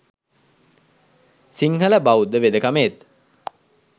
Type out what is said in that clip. සිංහල බෞද්ධ වෙදකමේත්